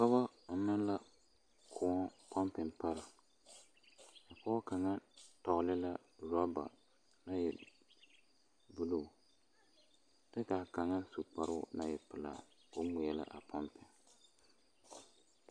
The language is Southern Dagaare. Dɔɔ ɔnnɔ la kõɔ pompi pare pɔge kaŋa tɔgle la rɔba a e buluu kyɛ ka a kaŋa su kparoo naŋ e pelaa k'o ŋmeɛlɛ a pompi.